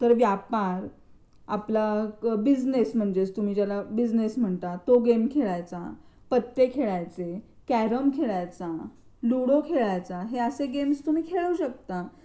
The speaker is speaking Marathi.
तर व्यापारआपला बिजनेस म्हणजे तुम्ही त्याला काय बिझनेस म्हणता तो गेम खेळायचा, पत्ते खेळायचे, कॅरम खेळायचा लुडो खेळायचा हे असे गेम्स तुम्ही खेळू शकता.